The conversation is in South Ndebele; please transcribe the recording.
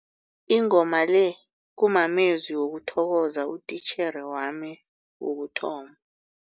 Ingoma le kumamezwi wokuthokoza utitjhere wami wokuthoma.